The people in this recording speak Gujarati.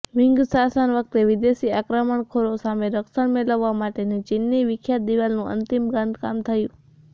મીંગ શાસન વખતે વિદેશી આક્રમણખોરો સામે રક્ષણ મેલવવા માટેની ચીનની વિખ્યાત દિવાલનું અંતિમ બાંધકામ થયું